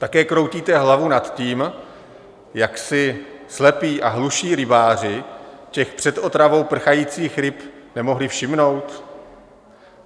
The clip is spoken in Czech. Také kroutíte hlavou nad tím, jak si slepí a hluší rybáři těch před otravou prchajících ryb nemohli všimnout?